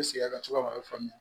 N sigi a ka c'ala a bɛ faamuya